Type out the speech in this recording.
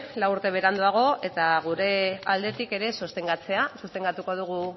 lau urte beranduago eta gure aldetik ere sostengatuko dugu